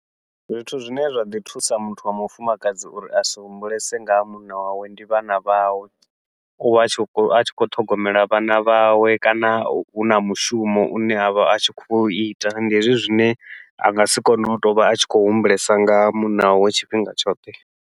Zwithu zwine zwa ḓi thusa muthu wa mufumakadzi uri a si humbulese nga ha munna wawe ndi vhana vhawe, uvha a tshi khou a tshi khou ṱhogomela vhana vhawe kana huna mushumo une avha a tshi khou iita, ndi hezwi zwine a ngasi kone u tovha a tshi khou humbulesa nga munna wawe tshifhinga tshoṱhe.